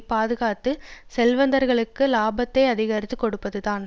பாதுகாத்து செல்வந்தர்களுக்கு லாபத்தை அதிகரித்து கொடுப்பதுதான்